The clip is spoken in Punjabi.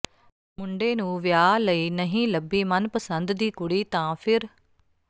ਮੁੰਡੇ ਨੂੰ ਵਿਆਹ ਲਈ ਨਹੀਂ ਲੱਭੀ ਮਨਪਸੰਦ ਦੀ ਕੁੜੀ ਤਾਂ ਫ਼ਿਰ